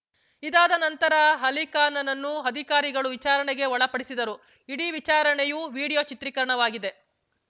ಇದಾದ ನಂತರ ಅಲಿಖಾನ್‌ನನ್ನು ಅಧಿಕಾರಿಗಳು ವಿಚಾರಣೆಗೆ ಒಳಪಡಿಸಿದರು ಇಡೀ ವಿಚಾರಣೆಯು ವಿಡಿಯೋ ಚಿತ್ರೀಕರಣವಾಗಿದೆ